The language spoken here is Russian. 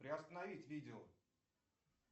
приостановить видео